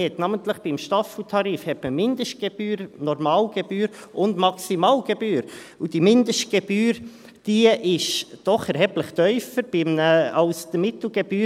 Man hat namentlich beim Staffeltarif Mindestgebühr, Normalgebühr und Maximalgebühr, und diese Mindestgebühr ist doch erheblich tiefer als die Mittelgebühr.